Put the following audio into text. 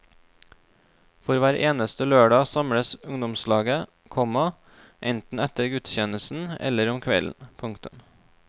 For hver eneste lørdag samles ungdomslaget, komma enten etter gudstjenesten eller om kvelden. punktum